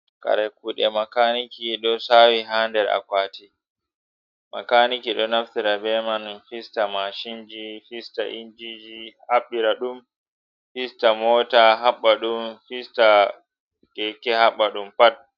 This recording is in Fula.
Kare kuɗe makaniki ɗo sawi ha nder a kwati, makaniki ɗo naftira beman fista mashinji, fista injiji, haɓɓira ɗum, fista mota haɓɓadum, fista keke haɓɓadum pat.